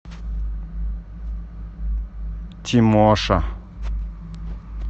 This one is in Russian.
тимоша